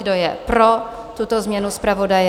Kdo je pro tuto změnu zpravodaje?